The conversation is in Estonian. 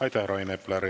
Aitäh, Rain Epler!